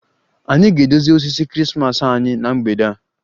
Anyị ga-edozi osisi Krismas anyị na mgbede a